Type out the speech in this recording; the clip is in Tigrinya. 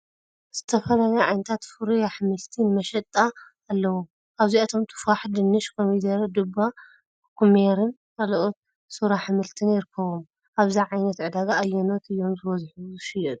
ዝተፈላለዩ ዓይነታት ፍሩይ ኣሕምልቲ ንመሸጣ ኣለዉ። ካብዚኣቶም ቱፋሕ፡ ድንሽ፡ ኮሚደረ፡ ዱባ፡ ኩኩሜርን ካልኦት ሱር ኣሕምልትን ይርከብዎም። ኣብዚ ዓይነት ዕዳጋ ኣየኖት እዮም ዝበዝሑ ዝሽየጡ?